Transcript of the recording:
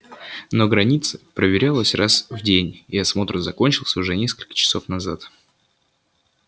но граница проверялась раз в день и осмотр закончился уже несколько часов назад